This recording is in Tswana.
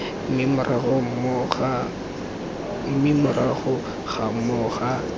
mme morago ga moo ga